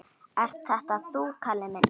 Ert þetta þú, Kalli minn!